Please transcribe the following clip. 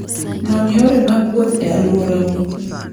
Non yore mag wuoth e alworau.